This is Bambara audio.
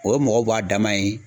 O ye mɔgɔw b'a dama ye.